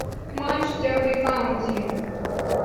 матч дерби каунти